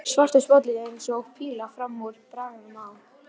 Svartur sportbíll eins og píla fram úr bragganum á